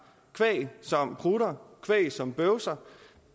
kvæg som prutter kvæg som bøvser